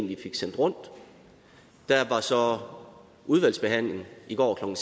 vi fik sendt rundt der var så udvalgsbehandling i går klokken